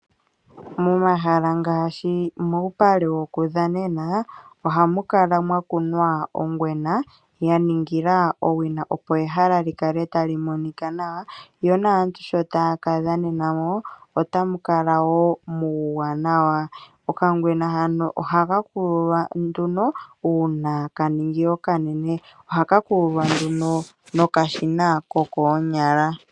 Momahala ngaashi muupale wokudhanena ohamu kala mwa kunwa ongwena ya ningilwa owina opo ehala li kale tali monika nawa, yo naantu sho taya kadhanena mo otamu kala wo muuwanawa. Okangwena hano ohaka kululwa nduno uuna ka ningi okanene. Ohaka kululwa nduno nokashina kokoonyala.